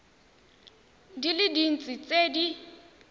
di le dintsi tse di